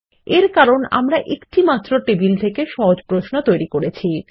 এর কারণ আমরা একটিমাত্র টেবিল থেকে সহজ প্রশ্ন তৈরি করছি